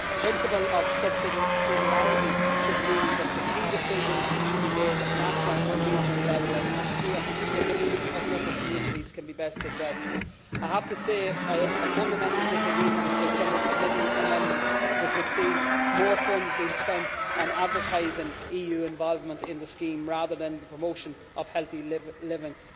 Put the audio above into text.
The principle of subsidiarity should mean that the key decisions should be made at national and regional level as it is here that the needs of local communities can be best addressed. I have to say that I have a fundamental disagreement with some of the committee amendments which would see more funds being spent on advertising EU involvement in the scheme rather than on promoting healthy living.